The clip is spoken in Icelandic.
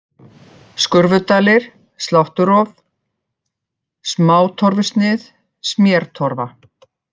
Skurfudalir, Slátturof, Smátorfusnið, Smértorfa